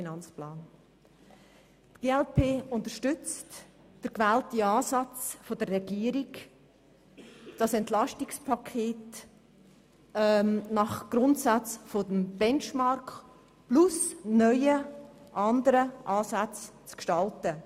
Die glp unterstützt den gewählten Ansatz der Regierung, das EP nach den Grundsätzen des Benchmarks und anderen, neuen Ansätzen zu gestalten.